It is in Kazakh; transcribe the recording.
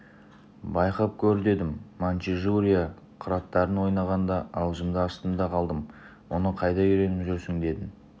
байқап көр дедім маньчжурия қыраттарын ойнағанда аузымды аштым да қалдым мұны қайда үйреніп жүрсің деп едім